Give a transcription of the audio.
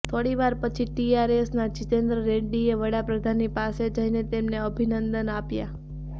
થોડી વાર પછી ટીઆરએસના જિતેન્દ્ર રેડ્ડીએ વડાપ્રધાનની પાસે જઈને તેમને અભિનંદન આપ્યા